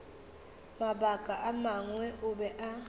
mabaka a mangwe o be